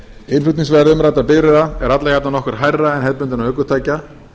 innflutningsverð umræddra bifreiða er alla jafna nokkru hærra heldur en ökutækja